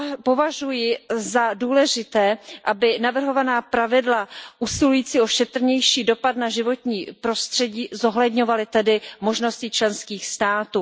Považuji za důležité, aby navrhovaná pravidla usilující o šetrnější dopad na životní prostředí zohledňovaly možnosti členských států.